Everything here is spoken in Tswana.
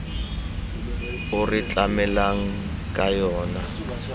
o re tlamelang ka yona